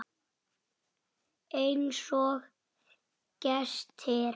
Einsog gestir.